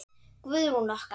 Guðrún okkar!